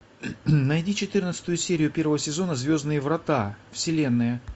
найди четырнадцатую серию первого сезона звездные врата вселенная